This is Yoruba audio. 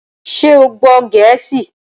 Ṣé o gbọ́ Gẹ̀ẹ́sì?